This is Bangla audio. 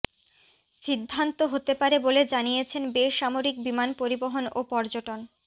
সিদ্ধান্ত হতে পারে বলে জানিয়েছেন বেসামরিক বিমান পরিবহন ও পর্যটন